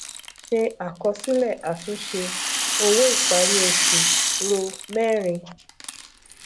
se àkọsílẹ àtúnṣe owó ìparí oṣù ro mẹrin